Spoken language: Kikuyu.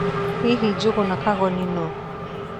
Hihi Njugũna Kagoni nũũ?